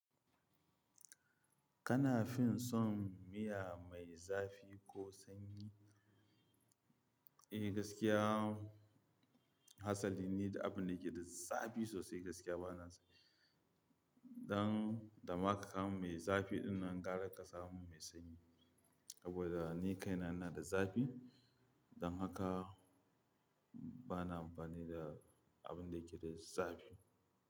Kana fin son miya mai zafi ko sanyi? Eh gaskiya, hatsali ne da abun da yake da zafi sosai gaskiya bana son. Don da maka kam mai zafi ina gara kasa mai sanyi. Saboda ni kaina ina da zafi don haka bana amfani da abun da yake da zafi.